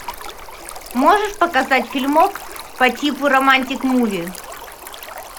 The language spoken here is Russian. можешь показать фильмок по типу романтик муви